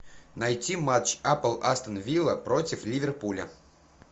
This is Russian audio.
найти матч апл астон вилла против ливерпуля